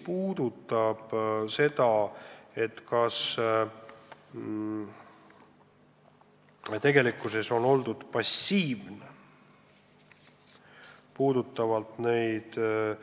Nüüd see, kas tegelikkuses on oldud passiivne vajalikke